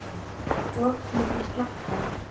Op milli slegla